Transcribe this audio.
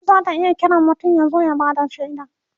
kotu zata iya Kiran mutum ya zo ya Bada shaida